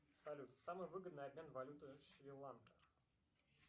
салют самый выгодный обмен валюты шри ланка